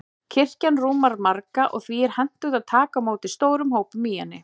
Kirkjan rúmar marga, og því er hentugt að taka á móti stórum hópum í henni.